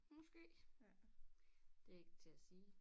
Måske det er ikke til at sige